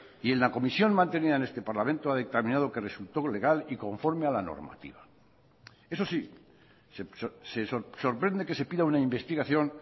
y en la comisión mantenida en este parlamento ha dictaminado que resultó legal y conforme a la normativa eso sí se sorprende que se pida una investigación